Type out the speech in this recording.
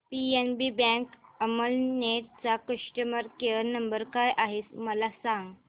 PNB bank Amalner चा customer care number काय आहे मला सांगा